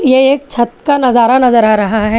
ये एक छत का नजारा नजर आ रहा है।